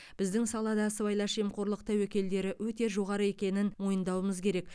біздің салада сыбайлас жемқорлық тәуекелдері өте жоғары екенін мойындауымыз керек